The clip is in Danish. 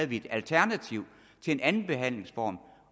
vi et alternativ til en anden behandlingsform